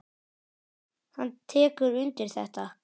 Hann tekur undir þetta.